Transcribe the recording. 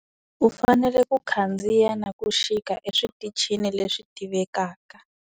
U fanele ku khandziya na ku xika eswitichini leswi tivekaka.